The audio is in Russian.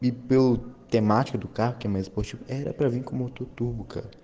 и был тематику картина испорченный праздник кому то думка